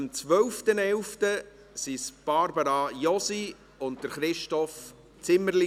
Am 12.11. waren es Barbara Josi und Christoph Zimmerli.